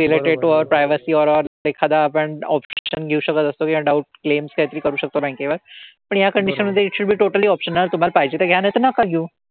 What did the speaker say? related to our privacy or our एखादा आपण option घेऊ शकत असतो किंवा doubts claims काहीतरी करू शकतो bank वर. पण या condition मधे it should be totally optional. तुम्हाला पाहिजे तर घ्या नाहीतर नका घेऊ.